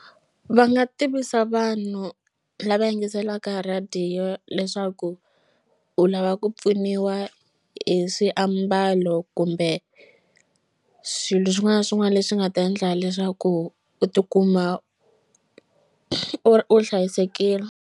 Va nga tivisa vanhu lava yingiselaka radio leswaku u lava ku pfuniwa hi swiambalo kumbe swilo swin'wana na swin'wana leswi nga ta endla leswaku u tikuma u hlayisekile.